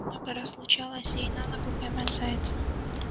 много раз случалось ей на ногу поймать зайца